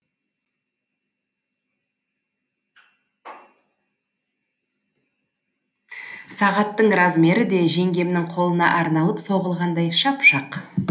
сағаттың размері де жеңгемнің қолына арналып соғылғандай шап шақ